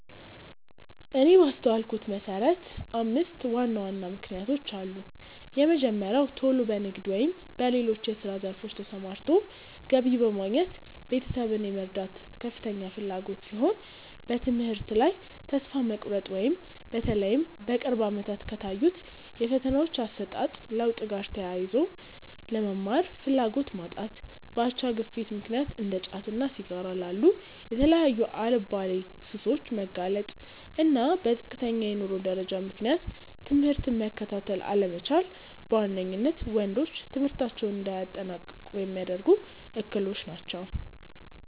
እኔ ባስተዋልኩት መሰረት አምስት ዋና ዋና ምክንያቶች አሉ። የመጀመሪያው ቶሎ በንግድ ወይም በሌሎች የስራ ዘርፎች ተሰማርቶ ገቢ በማግኘት ቤተሰብን የመርዳት ከፍተኛ ፍላጎት ሲሆን፤ በትምህርት ላይ ተስፋ መቁረጥ(በተለይም በቅርብ አመታት ከታዩት የፈተናዎች አሰጣጥ ለውጥ ጋር ተያይዞ)፣ ለመማር ፍላጎት ማጣት፣ በአቻ ግፊት ምክንያት እንደ ጫትና ሲጋራ ላሉ የተለያዩ አልባሌ ሱሶች መጋለጥ፣ እና በዝቅተኛ የኑሮ ደረጃ ምክንያት ትምህርትን መከታተል አለመቻል በዋነኝነት ወንዶች ትምህርታቸውን እንዳያጠናቅቁ ሚያደርጉ እክሎች ናቸው።